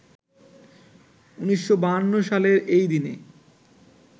১৯৫২ সালের এইদিনে